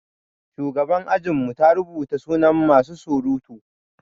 Shugaban ajin mu ta rubuta sunan masu surutu.